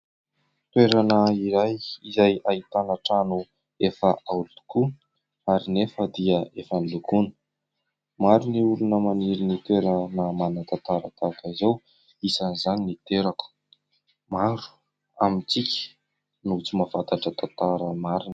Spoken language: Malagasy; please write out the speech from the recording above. Toerana iray izay ahitana trano efa aolo tokoa ary nefa dia efa nolokoana. Maro ny olona maniry ny toerana manatantara tahaka izao isan'izany niterako. Maro amintsika no tsy mahafantatra tantara marina.